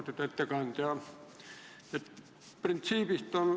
Austatud ettekandja!